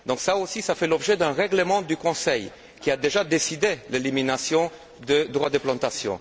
Cela fait aussi l'objet d'un règlement du Conseil, qui a déjà décidé l'élimination des droits de plantation.